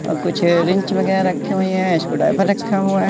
अब कुछ रिंच वगैरा रखी हुई है इसको स्क्रू ड्राइवर रखा हुआ--